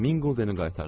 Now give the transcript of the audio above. Min quldeni qaytardılar.